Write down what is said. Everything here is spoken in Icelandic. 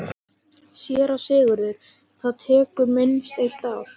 SÉRA SIGURÐUR: Það tekur minnst eitt ár.